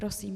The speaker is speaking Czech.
Prosím.